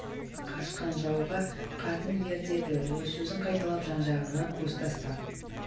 қашқан жауға қатын ер деді ол сөзін қайталап жан-жағына көз тастап